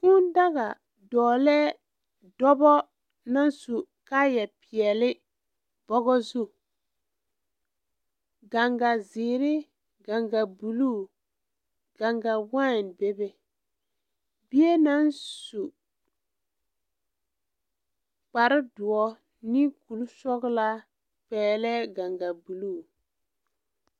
Kūū daga dɔɔlɛɛ dɔbɔ naŋ su kaayɛ peɛle bɔgɔ zu gaŋgazeere gaŋgabluu gaŋgawaain bebe bie naŋ su kparedoɔ ne kurisɔglaa pɛɛlɛɛ gaŋgabluu.